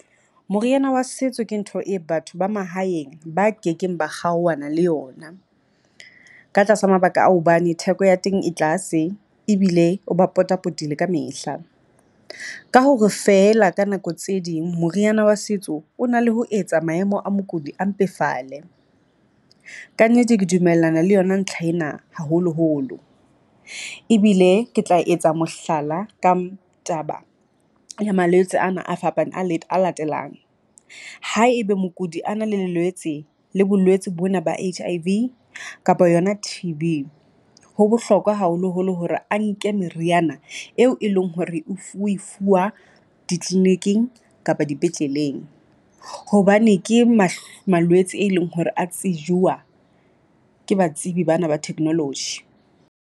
Moriana wa setso ke ntho e batho ba mahaeng ba kekeng ba kgaohana le yona ka tlasa mabaka a hobane theko ya teng e tlase, ebile o ba pota-potile kamehla. Ka hore feela ka nako tse ding moriana wa setso o na le ho etsa maemo a mokudi a mpefale. Kannete ke dumellana le yona ntlha ena haholoholo, ebile ke tla etsa mohlala ka taba ya malwetse ana a fapane a latelang. Haebe mokudi a na le le lwetse le bolwetsi bona ba H_I_V kapa yona T_B, ho bohlokwa haholoholo hore a nke meriana eo e leng hore oe fuwa di-clinic-ing kapa dipetleleng, hobane ke malwetse e leng hore a tsejiwa ke batsebi bana ba technology.